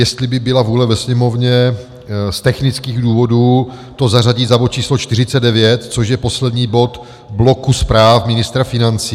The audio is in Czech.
Jestli by byla vůle ve Sněmovně z technických důvodů to zařadit za bod číslo 49, což je poslední bod bloku zpráv ministra financí.